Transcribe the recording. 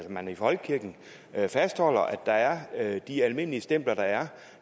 man i folkekirken fastholder at der er de almindelige stempler der er